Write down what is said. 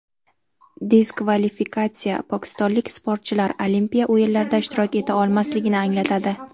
Diskvalifikatsiya pokistonlik sportchilar Olimpiya o‘yinlarida ishtirok eta olmasligini anglatadi.